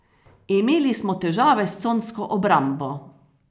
Imeli smo težave s consko obrambo.